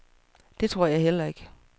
Det tror jeg heller ikke.